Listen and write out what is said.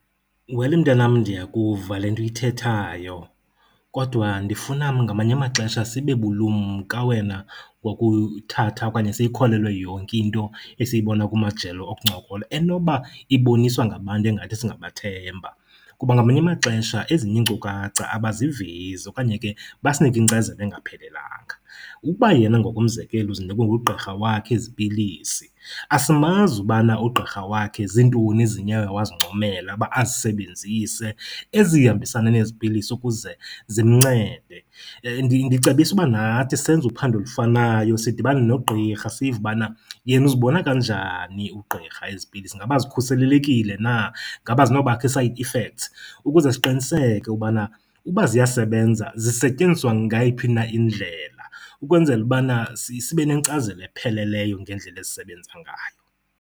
Wel mntanam, ndiyavuka le nto uyithethayo kodwa ndifuna ngamanye amaxesha sibe bulumka wena wokuyithatha okanye siyikholelwa yonke into esiyibona kumajelo okuncokola enoba iboniswa ngabantu engathi singabathemba kuba ngamanye amaxesha ezinye iinkcukacha abazivezi okanye ke basinike inkcazelo engaphelelanga. Ukuba yena ngokomzekelo uzinikwe ngugqirha wakhe ezi pilisi, asimazi ubana ugqirha wakhe ziintoni ezinye oye wazincomela uba azisebenzise ezihambisana nezi pilisi ukuze zimncede. Ndicebisa uba nathi senze uphando olufanayo sidibane nogqirha sive ubana yena uzibona kanjani ugqirha ezi pilisi. Ingaba zikhuselelekile na? Ngaba azinobakho ii-side effects? Ukuze siqiniseke ubana uba ziyasebenza zisetyenziswa ngayiphi na indlela ukwenzela ubana sibe nenkcazelo epheleleyo ngendlela ezisebenza ngayo.